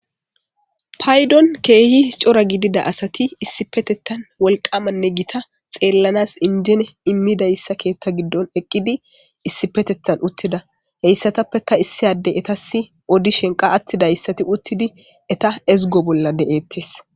Payddon keehi cora gidida asati issippetethan wolqqamanne gita xeelanas inje immidayssa keeththa giddon eqqidi issippetethan uttida . Hessappekka issi adde ettasi oddishin qa attidayssati uttidi etta ezggo bolla de7etees.